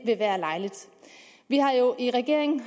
vi har jo i regeringen